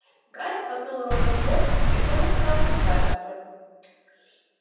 гарри толкнул рона в бок и кивком указал на старосту